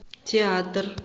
театр